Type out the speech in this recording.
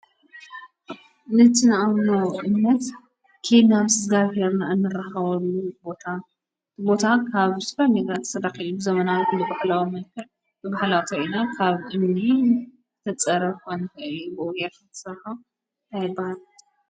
ንትንኣብኖእነት ኬድ ናም ዝጋኣብሔርና እንረሃወሉ ታቦታ ካብ ስፈር ኒግራት ሰዳኺሉሉ ዘመናዊ ሉ በኽልዋ መልከር ብብሕላተኢና ካብ እኔን ተጸረፈንብኡየፍሳ ኣይባል።